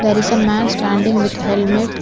There is a man standing with helmet.